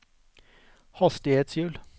hastighetshjul